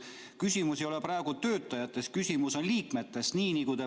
Küsimus ei ole praegu töötajates, küsimus on liikmetes.